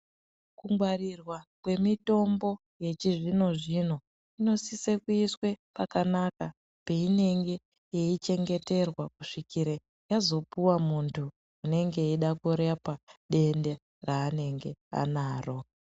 Kungwarirwa kwemitombo yechizvino zvino kunosisa kuiswe pakanaka peinenge yeichengeterwa kusvikire yazopuwe muntu unenge eida kurapwa denda raanenge anaro.